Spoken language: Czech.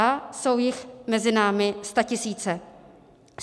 A jsou jich mezi námi statisíce.